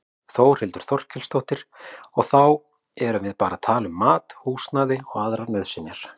Þórhildur Þorkelsdóttir: Og þá erum við bara að tala um mat, húsnæði og aðrar nauðsynjar?